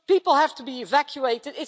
People have to be evacuated.